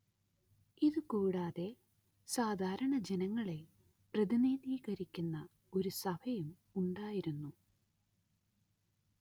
ഇതു കൂടാതെ സാധാരണ ജനങ്ങളെ പ്രതിനിധീകരിക്കുന്ന ഒരു സഭയും ഉണ്ടായിരുന്നു